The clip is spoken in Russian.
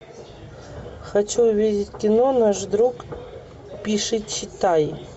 хочу увидеть кино наш друг пишичитай